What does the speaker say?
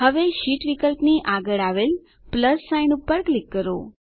હવે શીટ વિકલ્પની આગળ આવેલ પ્લસ સાઇન પર ક્લિક કરો